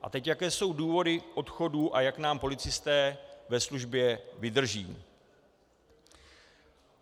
A teď jaké jsou důvody odchodů a jak nám policisté ve službě vydrží.